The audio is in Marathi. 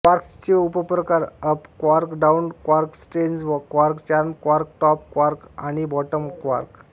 क्वार्क्सचे उपप्रकार up quark down quark strange quark charm quark top quark आणि बॉटम क्वार्क